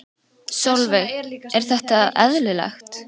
Sólveig: Er þetta eðlilegt?